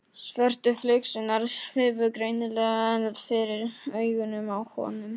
Svörtu flygsurnar svifu greinilega enn fyrir augunum á honum.